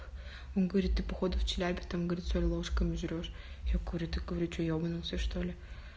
он говорит ты по ходу в челябе там говорит соль ложками жрёшь я говорю ты говорю что ебнулся что ли